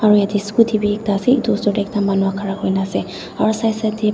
aro yadae scooty bi ekta asae etu osor dae manu khara hoikina.